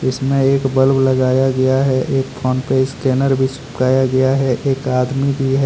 इसमें एक बल्ब लगाया गया है एक फोन पे स्कैनर भी चिपकाया गया हैं एक आदमी भी हैं।